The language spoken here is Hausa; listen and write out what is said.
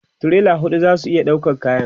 tirela huɗu zasu iya ɗaukan kayan